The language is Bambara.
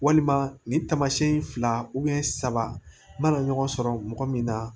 Walima nin taamasiyɛn fila saba mana ɲɔgɔn sɔrɔ mɔgɔ min na